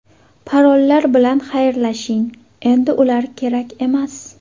Parollar bilan xayrlashing: endi ular kerak emas!